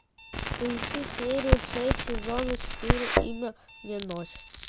поищи серию шесть сезона четыре имя мне ночь